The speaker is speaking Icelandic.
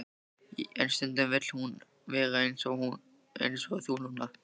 En stundum vill hún vera ein eins og þú núna.